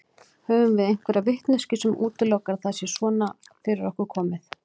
Höfum við einhverja vitneskju sem útilokar að það sé svona komið fyrir okkur?